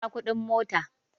Ku biya kuɗin mota!